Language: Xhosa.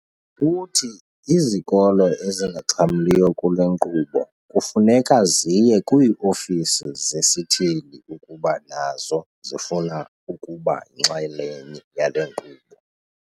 Uthi izikolo ezingaxhamliyo kule nkqubo kufuneka ziye kwii-ofisi zesithili ukuba nazo zifuna ukuba yinxalenye yale nkqubo.